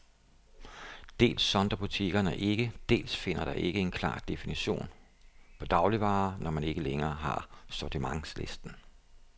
Dels sondrer butikkerne ikke, dels findes der ikke en klar definition på dagligvarer, når man ikke længere har sortimentslisten.